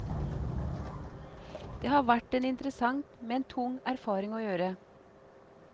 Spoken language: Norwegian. Det har vært en interessant, men tung erfaring å gjøre.